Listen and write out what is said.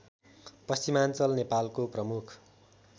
पश्चिमाञ्चल नेपालको प्रमुख